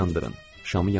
Şamı yandırdım.